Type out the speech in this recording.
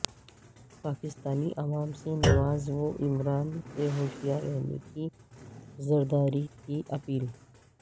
پاکستانی عوام سے نواز و عمران سے ہوشیار رہنے کی زرداری کی اپیل